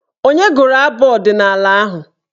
Onye gụrụ abụ ọdịnaala ahụ?